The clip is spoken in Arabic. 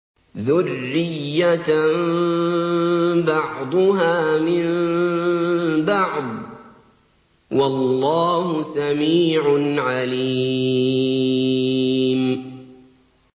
ذُرِّيَّةً بَعْضُهَا مِن بَعْضٍ ۗ وَاللَّهُ سَمِيعٌ عَلِيمٌ